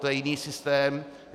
To je jiný systém.